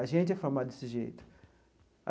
A gente é formado desse jeito.